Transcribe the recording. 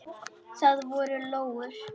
Það voru lóur.